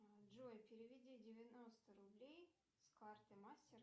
джой переведи девяносто рублей с карты мастер